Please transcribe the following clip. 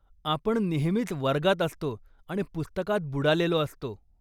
आपण नेहमीच वर्गात असतो आणि पुस्तकात बुडालेलो असतो.